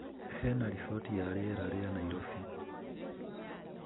Heana riboti ya rĩera rĩa Nairobi